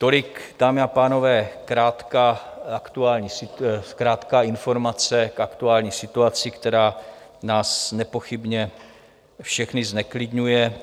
Tolik, dámy a pánové, krátká informace k aktuální situaci, která nás nepochybně všechny zneklidňuje.